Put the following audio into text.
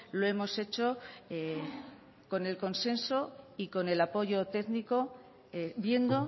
lo hemos hecho con el consenso y con el apoyo técnico viendo